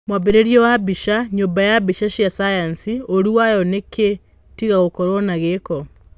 Mwambĩrĩrio wa mbica, nyũmba ya mbica cia cayanci, ũũru wayo nĩkĩĩ tiga gũkorwo na gĩko?